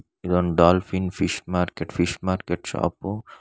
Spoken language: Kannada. ಇದೊಂದ dolphin fish market fish market shop.